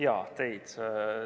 Jaa, teid.